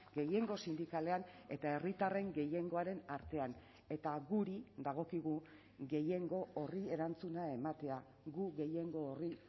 gehiengo sindikalean eta herritarren gehiengoaren artean eta guri dagokigu gehiengo horri erantzuna ematea gu gehiengo horri